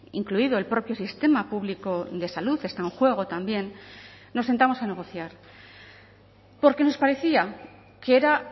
incluido el propio sistema público de salud está en juego también nos sentamos a negociar porque nos parecía que era